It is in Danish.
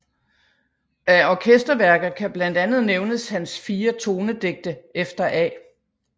Af orkesterværker kan blandt andet nævnes hans Fire Tonedigte efter A